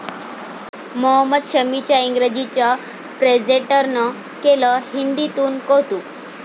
मोहम्मद शमीच्या इंग्रजीचं प्रेझेंटरनं केलं हिंदीतून कौतूक